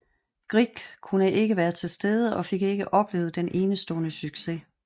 Grieg kunne ikke være til stede og fik ikke oplevet den enestående succes